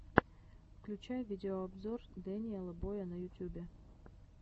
включай видеообзор дэниела боя на ютюбе